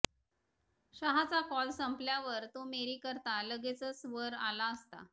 शहाचा call संपल्यावर तो मेरीकरता लगेचच वर आला असता